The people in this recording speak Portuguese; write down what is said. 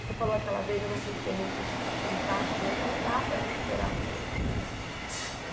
Você falou aquela vez, eu não quis ser muito enfático, mas não dá para recuperar o fígado do teu pai.